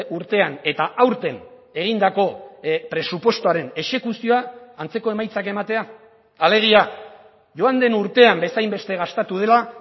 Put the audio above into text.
urtean eta aurten egindako presupuestoaren exekuzioa antzeko emaitzak ematea alegia joan den urtean bezainbeste gastatu dela